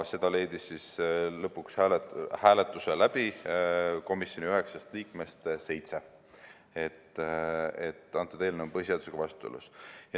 Seda leidis lõpuks hääletusel komisjoni üheksast liikmest seitse, et eelnõu on põhiseadusega vastuolus.